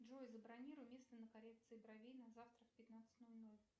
джой забронируй место на коррекции бровей на завтра в пятнадцать ноль ноль